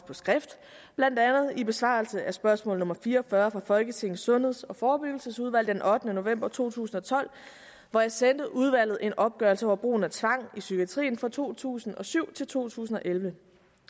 på skrift blandt andet i besvarelse af spørgsmål nummer fire og fyrre fra folketingets sundheds og forebyggelsesudvalg den ottende november to tusind og tolv hvor jeg sendte udvalget en opgørelse over brugen af tvang i psykiatrien fra to tusind og syv til to tusind og elleve